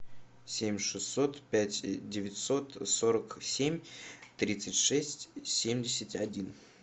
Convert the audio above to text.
семь шестьсот пять девятьсот сорок семь тридцать шесть семьдесят один